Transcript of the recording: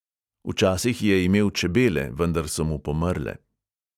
Včasih je imel čebele, vendar so mu pomrle.